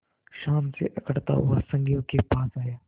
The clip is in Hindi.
शान से अकड़ता हुआ संगियों के पास आया